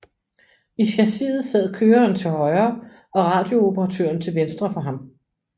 I chassiset sad køreren til højre og radiooperatøren til venstre for ham